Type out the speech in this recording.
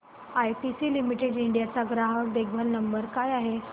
ITC limited India चा ग्राहक देखभाल नंबर काय आहे